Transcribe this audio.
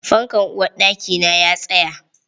Fankan uwarɗakina ya tsaya.